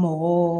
Mɔgɔ